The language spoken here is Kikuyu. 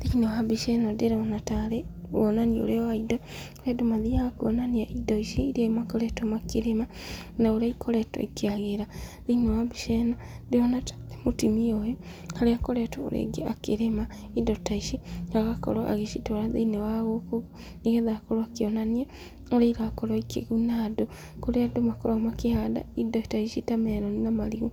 Thĩiniĩ wa mbica ĩno ndĩrona tarĩ wonanio ũrĩa wa indo andũ mathiaga kũonania indo ici iria makoretwo makĩrima na ũrĩa ikoretwo ikĩagĩra. Thĩiniĩ wa mbica ĩno ndĩrona mũtumia ũyũ ũrĩa ũkoretwo rĩngĩ akĩrĩma indo ta ici na agakorwo agĩcitwara thĩiniĩ wa gũkũ, nĩgetha akorwo akĩonania ũrĩa irakorwo ikĩguna andũ. Kũrĩa andũ makoragwo makĩhanda indo ta ici, ta meroni na marigũ